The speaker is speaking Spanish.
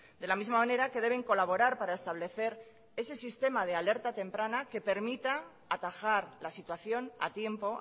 de la misma manera que deben colaborar para establecer ese sistema de alerta temprana que permita atajar la situación a tiempo